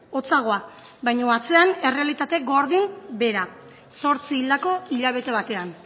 hotzagoa baino atzean errealitate gordin bera zortzi hildako hilabete batean